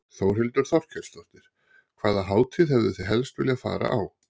Þórhildur Þorkelsdóttir: Hvaða hátíð hefðuð þið helst viljað fara á?